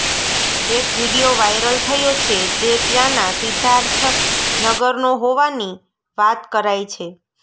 એક video viral થયો છે જે ત્યાંના સિદ્ધાર્થનગરનો હોવાની વાત કરાઈ છે